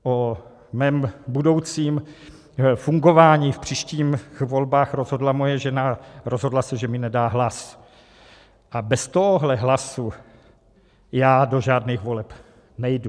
O mém budoucím fungování v příštích volbách rozhodla moje žena - rozhodla se, že mi nedá hlas, a bez tohohle hlasu já do žádných voleb nejdu.